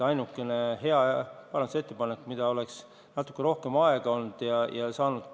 Ainuke hea parandusettepanek, mida oleks saanud arvestada, kui natuke rohkem aega oleks olnud, oli Aivar Sõerdi ettepanek.